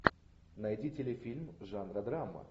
найди телефильм жанра драма